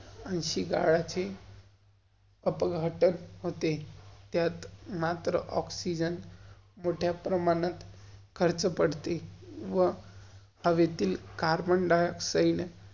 अयिन्शी होते. त्यात मात्र ऑक्सीजन मोठ्या प्रमाणात, खर्च पड़ते. व हवेतील कार्बन-डाइऑक्साइड.